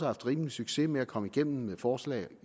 haft rimelig succes med at komme igennem med forslag